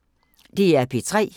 DR P3